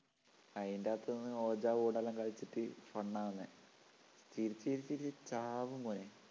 അതിൻറെ അകത്തുനിന്നു ouija board എല്ലാം കളിച്ചിട്ട് fun ആവുന്നേ ചിരിച്ചു ചിരിച്ചു ചിരിച്ചു ചാവും മോനെ